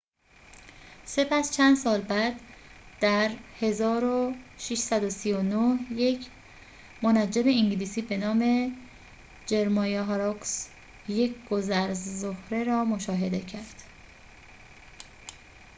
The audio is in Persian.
سپس چند سال بعد در ۱۶۳۹ یک منجم انگلیسی به نام جرمایا هاروکس یک گذر زهره را مشاهده کرد